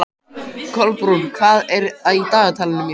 Kolbrún, hvað er í dagatalinu í dag?